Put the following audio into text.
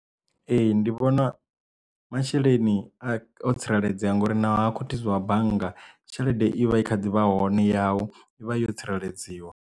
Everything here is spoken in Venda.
Ee ndi vhona masheleni a o tsireledzea ngori navho ha khuthuziwa bannga tshelede i vha i kha ḓivha hone yau i vha yo tsireledziwa.